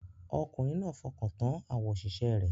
Ọkùnrin náà fọkàn tán àwọn òṣìṣẹ́ rẹ̀